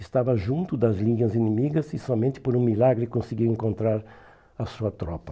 Estava junto das linhas inimigas e somente por um milagre conseguiu encontrar a sua tropa.